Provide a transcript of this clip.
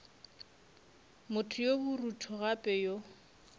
motho yo borutho gape yo